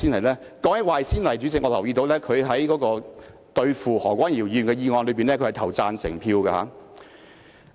說到這一點，主席，我留意到他在針對何君堯議員的議案辯論中投了贊成票。